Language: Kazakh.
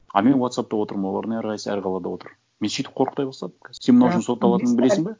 а мен уотсаппта отырмын олардың әрқайсы әр қалада отыр мен сөйтіп қорқыта бастадым қазір сен мынау үшін сотталатыныңды білесің бе